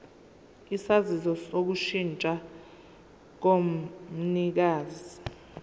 isaziso sokushintsha komnikazi